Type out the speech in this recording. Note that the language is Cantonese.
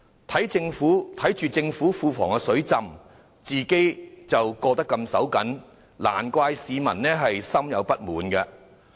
市民看到政府庫房"水浸"，自己的生活卻十分緊絀，難怪他們對政府感到不滿。